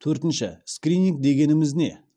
төртінші скрининг дегеніміз не